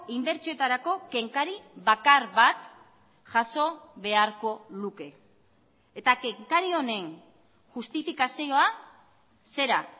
inbertsioetarako kenkari bakar bat jaso beharko luke eta kenkari honen justifikazioa zera